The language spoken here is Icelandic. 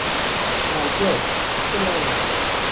Valbjört, spilaðu lag.